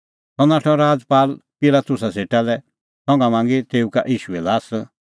सह नाठअ राजपाल पिलातुसा सेटा लै संघा मांगी तेऊ का ईशूए ल्हास